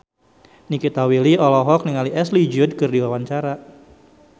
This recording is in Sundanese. Nikita Willy olohok ningali Ashley Judd keur diwawancara